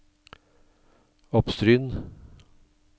Oppstryn